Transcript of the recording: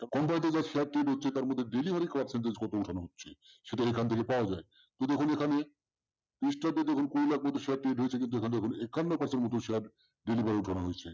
সেখান থেকে পাওয়া যায় তার মধ্যে ডেলিভারি percentage কত উটানা হচ্ছে? শুধু এখান থেকে পাওয়া যায় । শুধু এখানে একান্ন percent share share ডেলিভারি করানো হয়েছে।